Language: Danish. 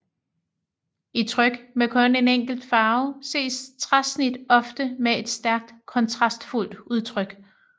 I tryk med kun en enkelt farve ses træsnit ofte med et stærkt kontrastfuldt udtryk